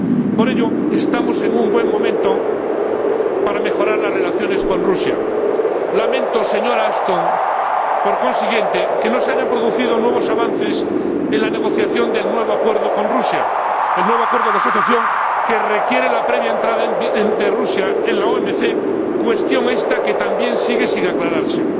Por ello, estamos en un buen momento para mejorar las relaciones con Rusia. Por consiguiente, lamento, señora Ashton, que no se hayan producido nuevos avances en la negociación del nuevo acuerdo con Rusia, el nuevo acuerdo de asociación que requiere la previa entrada de Rusia en la OMC, cuestión esta que también sigue sin aclararse.